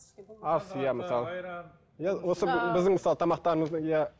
ас иә мысалы иә осы біздің мысалы тамақтарымыздың иә